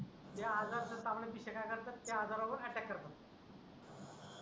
त्या आजार त्या तांबड्या पिशया काय करतात त्या आजारावर अटॅक करतात